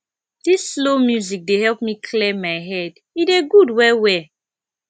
dis slow music dey help me clear my head e dey good wellwell